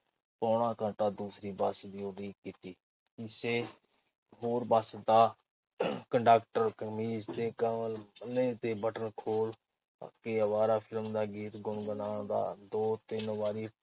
ਪੌਣਾ ਘੰਟਾ, ਦੂਸਰੀ ਬੱਸ ਦੀ ਉਡੀਕ ਕੀਤੀ। ਕਿਸ ਹੋਰ ਬੱਸ ਦਾ ਕੰਡਕਟਰ ਕਮੀਜ਼ ਦੇ ਗਲਮੇ ਦੇ ਬਟਨ ਖੋਲ੍ਹ ਕੇ ਅਵਾਰਾ ਫਿਲਮ ਦਾ ਗੀਤ ਗੁਣਗੁਣਾਉਂਦਾ ਦੋ-ਤਿੰਨ ਵਾਰੀ